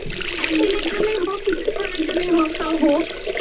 একদিনের জন্যই হোক কিছুক্ষণের জন্যই হোক তাও হোক